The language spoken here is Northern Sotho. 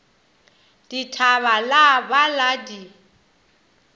dithaba la ba la di